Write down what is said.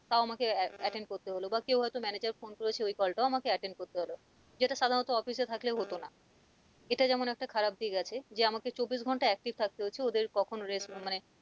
তাও আমাকে attend করতে হল বা কেউ হয়তো manager phone করেছে ওই call টাও আমাকে attend করতে হল যেটা সাধারণত office এ থাকলে হতো না এটা যেমন একটা খারাপ দিক আছে যে আমাকে চব্বিশ ঘন্টা active থাকতে হচ্ছে ওদের কখন মানে